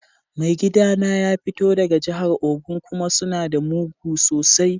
Mai gida na ya fito daga jihar Ogun kuma suna da mugu sosai.